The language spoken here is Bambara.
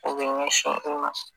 U bi ɲɛsin o ma